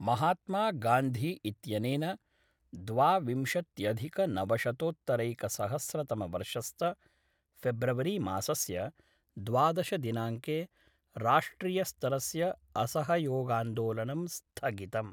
महात्मगान्धी इत्यनेन द्वाविंशत्यधिकनवशतोत्तरैकसहस्रतमवर्षस्त फेब्रुवरीमासस्य द्वाद्श दिनाङ्के, राष्ट्रियस्तरस्य असहयोगान्दोलनं स्थगितम्